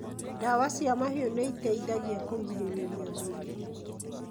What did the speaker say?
Ndawa cia mahiũ nĩ ĩteithagia kũgirĩrĩria mĩrimũ.